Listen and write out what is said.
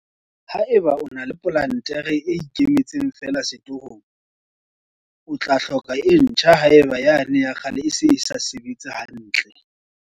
Haeba o na le plantere e ikemetseng feela setorong, o tla hloka e ntjha haeba yane ya kgale e se e sa sebetse hantle.